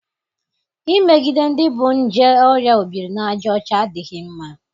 imegide ndị bu nje oria obiri na aja ocha adịghị mma.